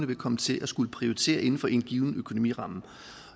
vil komme til at skulle prioritere inden for en given økonomiramme